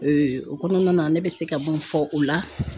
o kɔnɔna na ne bɛ se ka mun fɔ o la